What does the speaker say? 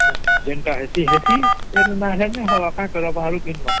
ଯେନ୍ତା ହେଇସି ହେସି ଜଏଣ୍ଟ ଅନାଇ ହେସି ହବ ପାଇଁ time ଲଗସଇ